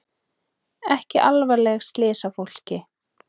Ekki alvarleg slys á fólki